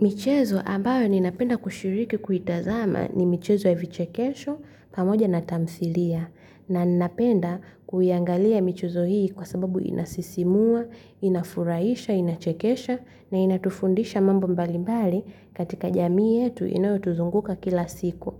Michezo ambayo ninapenda kushiriki kuitazama ni michezo ya vichekesho pamoja na tamthilia na ninapenda kuiangalia michezo hii kwa sababu inasisimua, inafurahisha, inachekesha na inatufundisha mambo mbali mbali katika jamii yetu inayotuzunguka kila siku.